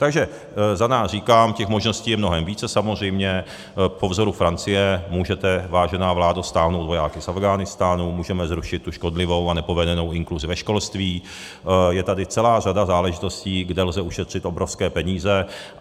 Takže za nás říkám - těch možností je mnohem více, samozřejmě, po vzoru Francie můžete, vážená vládo, stáhnout vojáky z Afghánistánu, můžeme zrušit tu škodlivou a nepovedenou inkluzi ve školství, je tady celá řada záležitostí, kde lze ušetřit obrovské peníze.